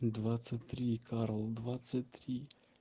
двадцать три карл двадцать три